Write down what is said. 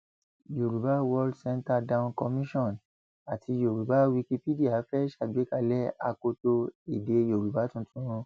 yorùbá world center dawn commission àti yorùbá wikipedia fẹẹ ṣàgbékalẹ akoto èdè yorùbá tuntun